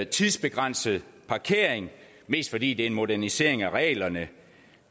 tidsbegrænset parkering mest fordi det er en modernisering af reglerne